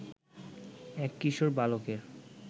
এক কিশোর বালকের